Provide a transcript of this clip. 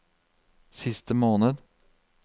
siste måned